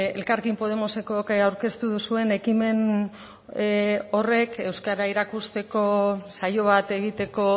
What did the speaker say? elkarrekin podemosekok aurkeztu duzuen ekimen horrek euskara erakusteko saio bat egiteko